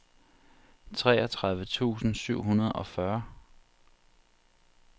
treogtredive tusind syv hundrede og fyrre